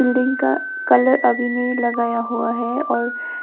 building का colour अभी नहीं लगाया हुआ है और--